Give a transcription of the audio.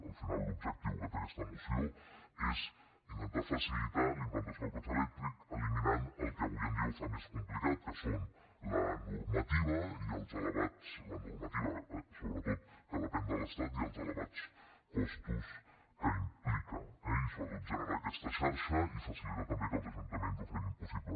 al final l’objectiu que té aquesta moció és intentar facilitar la implantació del cotxe elèctric i eliminar el que avui en dia ho fa més complicat que són la normativa sobretot que depèn de l’estat i els elevats costos que implica eh i sobretot generar aquesta xarxa i facilitar també que els ajuntaments ho facin possible